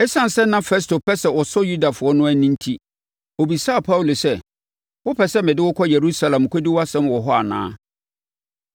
Esiane sɛ na Festo pɛ sɛ ɔsɔ Yudafoɔ no ani enti, ɔbisaa Paulo sɛ, “Wopɛ sɛ mede wo kɔ Yerusalem kɔdi wʼasɛm wɔ hɔ anaa?”